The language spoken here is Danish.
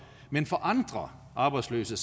men for andre arbejdsløse